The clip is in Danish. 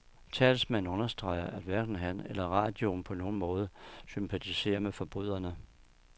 Talsmanden understreger, at hverken han eller radioen på nogen måder sympatiserer med forbryderne.